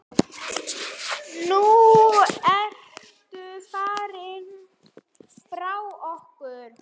Nú ertu farinn frá okkur.